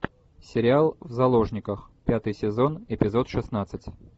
сериал в заложниках пятый сезон эпизод шестнадцать